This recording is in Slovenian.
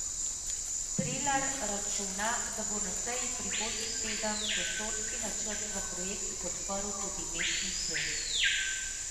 Trilar računa, da bo na seji prihodnji teden prostorski načrt za projekt podprl tudi mestni svet.